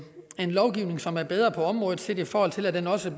lovgivning som er bedre på området set i forhold til at den også